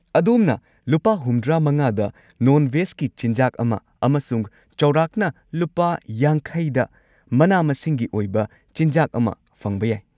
ꯑꯗꯣꯝꯅ ꯂꯨꯄꯥ ꯷꯵ꯗ ꯅꯣꯟ ꯚꯦꯖꯀꯤ ꯆꯤꯟꯖꯥꯛ ꯑꯃ ꯑꯃꯁꯨꯡ ꯆꯧꯔꯥꯛꯅ ꯂꯨꯄꯥ ꯵꯰ꯗ ꯃꯅꯥ-ꯃꯁꯤꯡꯒꯤ ꯑꯣꯏꯕ ꯆꯤꯟꯖꯥꯛ ꯑꯃ ꯐꯪꯕ ꯌꯥꯏ꯫